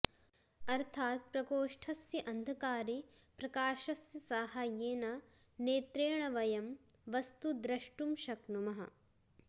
अर्थाद् प्रकोष्ठस्य अन्धकारे प्रकाशस्य साहाय्येन नेत्रेण वयं वस्तु दृष्टुं शक्नुमः